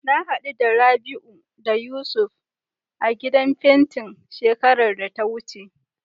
Na haɗu da Rabi'u da Yusuf a gidan fentin shekarar da ta wuce.